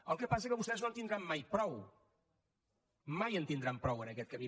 el que passa que vostès no en tindran mai prou mai en tindran prou en aquest camí